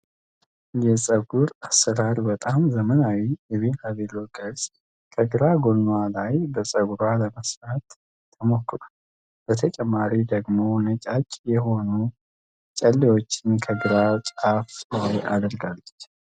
የፀጉር አሰራር በጣም ዘመናዊው የቢራቢሮ ቅርጽ ከግራ ጎንዋ ላይ በፀጉሯ ለመስራት ተሞክሯል። በተጨማሪም ደግሞ ነጫጭ የሆኑ ጨሌዎችን ከግሯ ጫፍ ላይ አድርጋለች።